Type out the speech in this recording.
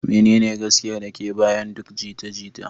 Menene gaskiyar da ke bayan duk jita-jita?